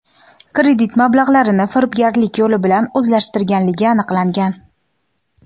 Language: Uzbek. kredit mablag‘larini firibgarlik yo‘li bilan o‘zlashtirganligi aniqlangan.